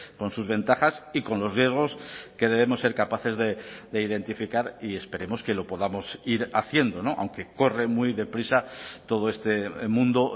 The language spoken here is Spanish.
con sus ventajas y con los riesgos que debemos ser capaces de identificar y esperemos que lo podamos ir haciendo aunque corre muy deprisa todo este mundo